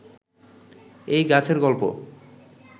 এই গাছের গল্প